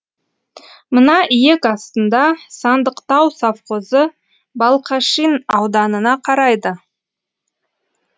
мына иек астында сандықтау совхозы балқашин ауданына қарайды